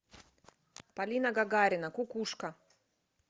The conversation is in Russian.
полина гагарина кукушка